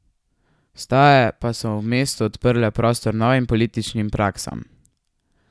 Vstaje pa so v mestu odprle prostor novim političnim praksam.